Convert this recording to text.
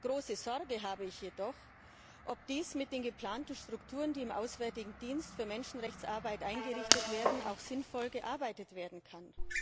Große Sorge habe ich jedoch, ob mit den geplanten Strukturen, die im Auswärtigen Dienst für Menschenrechtsarbeit eingerichtet werden, auch sinnvoll gearbeitet werden kann.